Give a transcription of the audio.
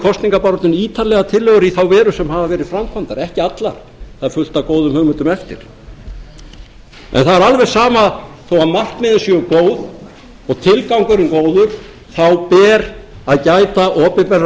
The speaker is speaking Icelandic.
kosningabaráttunni ítarlega tillögur í þá veru sem hafa verið framkvæmdar ekki allar það er fullt af góðum hugmyndum eftir en það er alveg sama þó að markmiðin séu góð og tilgangurinn góður þá ber að gær opinberra